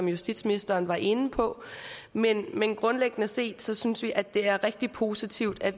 justitsministeren var inde på men men grundlæggende set synes vi at det er rigtig positivt at